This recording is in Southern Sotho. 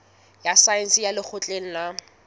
ya saense ya lekgotleng la